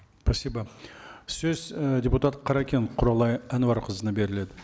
спасибо сөз і депутат қаракен құралай әнуарқызына беріледі